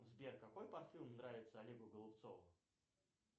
сбер какой парфюм нравится олегу голубцову